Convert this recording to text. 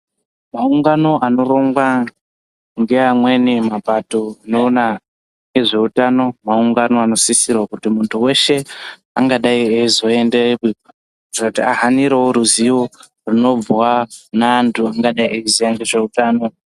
Maungano anorongwa ngeamweni mapato anoona nezveutano maungano anosisirwe kuti muntu weshe anga dai eyizoendeyo kutiira kuti ahanire ruzivo runobva ne antu anodayi kuziya nezve utano.